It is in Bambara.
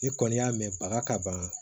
Ni kɔni y'a mɛn baga ka ban